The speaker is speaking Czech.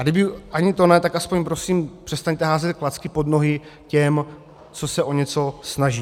A kdyby ani to ne, tak aspoň prosím přestaňte házet klacky pod nohy těm, co se o něco snaží.